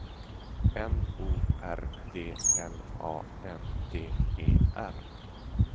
N O R D L A N D E R